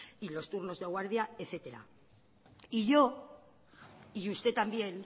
y los turnos de guardia etcétera y yo y usted también